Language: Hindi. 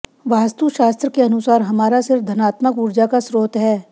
वास्तुशास्त्र के अनुसार हमारा सिर धनात्मक उर्जा का स्त्रोत है